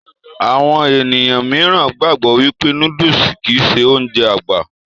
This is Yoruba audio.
Àwọn ènìyàn míìràn gbàgbọ́ wípé nóódùsì kìí ṣe Ounjẹ àgbà